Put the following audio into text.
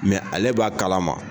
ale b'a kalama